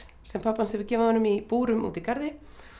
sem pabbi hans hefur gefið honum í búrum úti í garði